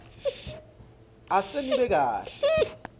ase nibe kahle